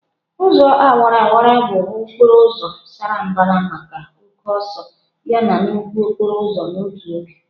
Ụzọ awara awara bụ okporo ụzọ sara mbara maka oke ọsọ yana nnukwu okporo ụzọ n'otu oge.